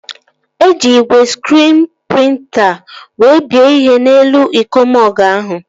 Eji igwe skriin prịnta wee bie ihe n'elu iko mọgụ ahụ